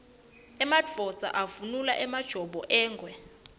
emadvodza avunula emajobo engwe